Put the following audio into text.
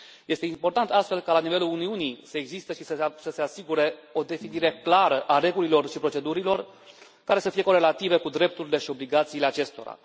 Este important, astfel, ca, la nivelul Uniunii, să existe și să se asigure o definire clară a regulilor și procedurilor care să fie corelative cu drepturile și obligațiile acestora.